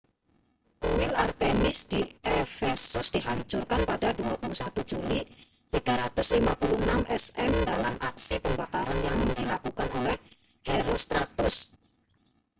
kuil artemis di efesus dihancurkan pada 21 juli 356 sm dalam aksi pembakaran yang dilakukan oleh herostratus